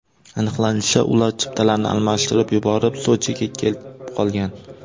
Aniqlanishicha, ular chiptalarni almashtirib yuborib, Sochiga kelib qolgan.